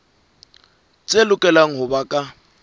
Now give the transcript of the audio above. tse lokelang ho ba ka